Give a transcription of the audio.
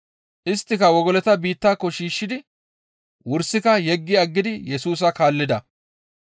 Isttika wogolota biittako shiishshidi wursika yeggi aggidi Yesusa kaallida.